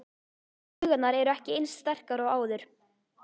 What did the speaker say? Taugarnar eru ekki eins sterkar og áður.